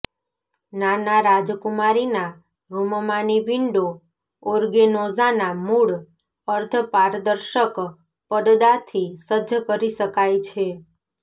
નાના રાજકુમારીના રૂમમાંની વિંડો ઓર્ગેનોઝાના મૂળ અર્ધપારદર્શક પડદાથી સજ્જ કરી શકાય છે